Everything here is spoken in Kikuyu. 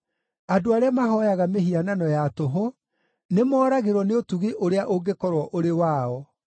“Andũ arĩa mahooyaga mĩhianano ya tũhũ, nĩmoragĩrwo nĩ ũtugi ũrĩa ũngĩkorwo ũrĩ wao.